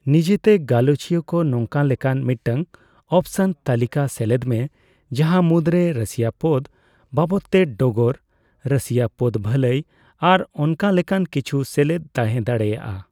ᱱᱤᱡᱮᱛᱮ ᱜᱟᱞᱚᱪᱤᱭᱟᱹᱠᱚ ᱱᱚᱠᱟᱱ ᱞᱮᱠᱟᱱ ᱢᱤᱫᱴᱟᱝ ᱚᱯᱥᱚᱱ ᱛᱟᱹᱞᱠᱟᱹᱥᱮᱞᱮᱫ ᱢᱮ ᱡᱟᱦᱟ ᱢᱩᱫᱨᱮ ᱨᱟᱹᱥᱤᱭᱟᱹᱯᱚᱫ ᱵᱟᱵᱚᱫᱛᱮ ᱰᱚᱜᱚᱨ, ᱨᱟᱥᱤᱭᱟᱹ ᱯᱚᱫ ᱵᱷᱟᱞᱟᱭ ᱟᱨ ᱚᱱᱠᱟᱞᱮᱠᱟᱱ ᱠᱤᱪᱷᱩ ᱥᱮᱞᱮᱫ ᱛᱟᱦᱮᱸᱫᱟᱲᱮᱭᱟᱜᱼᱟᱭ᱾